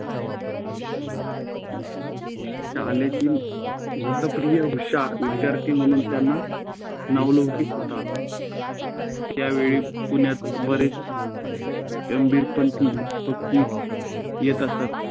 शाळेतील शिस्तप्रिय, हुशार विद्यार्थी म्हणून त्यांना नावलौकि होता. त्यावेळी पुण्यात बरेच कबीरपंथी येत असत